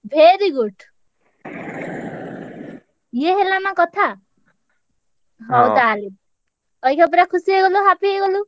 Very good ଇଏ ହେଲାନା କଥା, ହଉ ତାହେଲେ, ଅଇଖା ପୁରା ଖୁସି ହେଇଗଲୁ ନା happy ହେଇଗଲୁ?